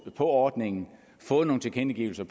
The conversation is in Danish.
på ordningen og fået nogle tilkendegivelser